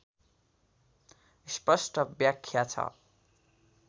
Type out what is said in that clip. स्पस्ट व्याख्या छ